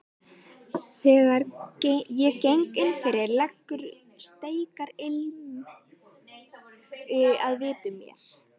Þegar ég geng innfyrir leggur steikarilm að vitum mér.